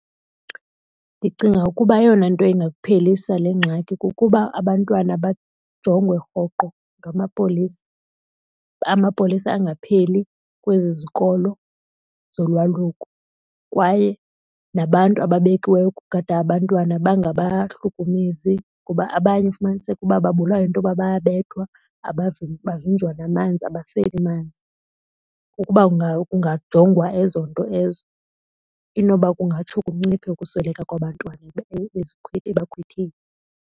Ndicinga ukuba eyona nto ingaphelisa le ngxaki kukuba abantwana bajongwe rhoqo ngamapolisa. Amapolisa angapheli kwezi zikolo zolwaluko kwaye nabantu ababekiweyo ukugada abantwana bangabahlukumezi ngoba abanye ufumaniseka uba babulawa yinto yoba bayabethwa bavinjwa namanzi, abaseli manzi. Ukuba kungajongwa ezo nto ezo inoba kungatsho kunciphe ukusweleka kwabantwana ebakhwetheni.